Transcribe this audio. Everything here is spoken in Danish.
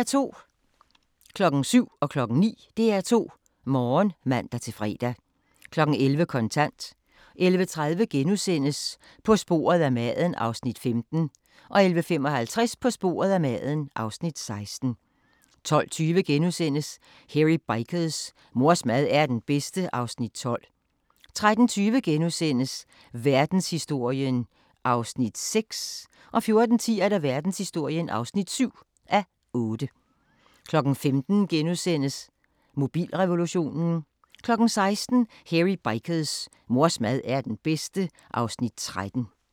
07:00: DR2 Morgen (man-fre) 09:00: DR2 Morgen (man-fre) 11:00: Kontant 11:30: På sporet af maden (Afs. 15)* 11:55: På sporet af maden (Afs. 16) 12:20: Hairy Bikers: Mors mad er den bedste (Afs. 12)* 13:20: Verdenshistorien (6:8)* 14:10: Verdenshistorien (7:8) 15:00: Mobilrevolutionen * 16:00: Hairy Bikers: Mors mad er den bedste (Afs. 13)